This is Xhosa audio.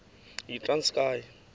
yitranskayi